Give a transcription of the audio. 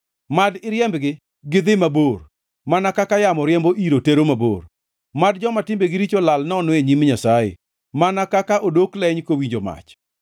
Mad iriembgi gi dhi mabor, mana kaka yamo riembo iro tero mabor; mad joma timbegi richo lal nono e nyim Nyasaye mana kaka odok leny kowinjo mach.